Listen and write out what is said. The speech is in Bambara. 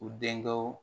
U denkɛw